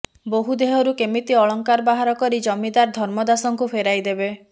ବୋହୂ ଦେହରୁ କେମିତି ଅଳଙ୍କାର ବାହାର କରି ଜମିଦାର ଧର୍ମଦାସଙ୍କୁ ଫେରାଇବେ